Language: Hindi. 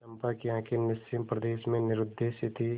चंपा की आँखें निस्सीम प्रदेश में निरुद्देश्य थीं